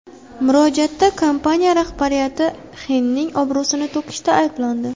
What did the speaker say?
Murojaatda kompaniya rahbariyati Xenning obro‘sini to‘kishda ayblandi.